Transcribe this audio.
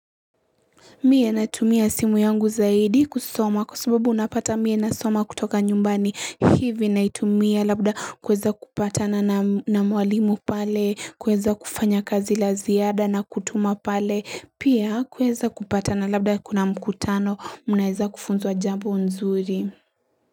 Mie na tumia simu yangu zaidi kusoma kwa sababu unapata mie na soma kutoka nyumbani hivi na itumia labda kweza kupata na namwalimu pale, kueza kufanya kazi la ziada na kutuma pale, pia kueza kupata na labda kuna mkutano munaeza kufunzwa jambu nzuri.